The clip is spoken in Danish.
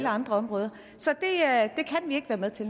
andre områder så